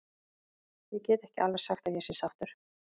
Ég get ekki alveg sagt að ég sé sáttur.